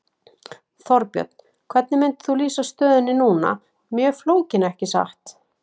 Þorbjörn: Hvernig myndir þú lýsa stöðunni núna, mjög flókin ekki satt?